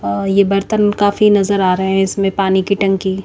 अ ये बर्तन काफी नजर आ रहे है इसमें पानी की टंकी--